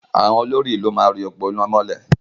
Àwọn olórí-ìlú máa ri òpó iná mọ́lẹ̀.